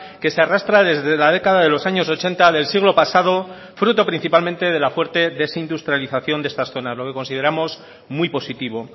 que se arrastra desde la década de los años ochenta del siglo pasado fruto principalmente de la fuerte desindustrialización de estas zonas lo que consideramos muy positivo